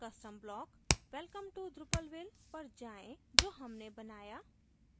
custom block welcome to drupalville पर जाएँ जो हमने बनाया